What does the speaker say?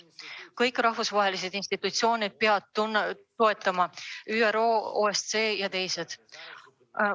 Kõik rahvusvahelised institutsioonid peavad toetama – ÜRO, OSCE ja teised.